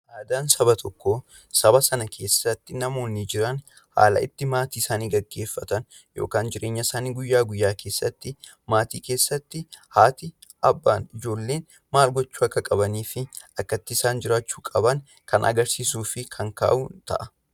Aadaan saba tokkoo, saba sana keessatti namoonni jiran haala itti maatii isaanii geggeeffatan yookaan jireenya isaanii guyyaa guyyaa keessatti, maatii keessatti haatii, abbaan, ijoolleen maal gochuu akka qabanii fi akka itti isaan jiraachuu qaban kan agarsiisuu fi kan kaa'u ta'a.